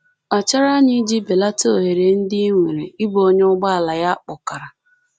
Kpachara anya iji belata ohere ndị i nwere ịbụ onye ụgbọala ya kpọkara.